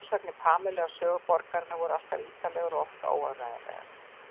Frásagnir Pamelu af sögu borgarinnar voru alltaf ítarlegar og oft óáreiðanlegar.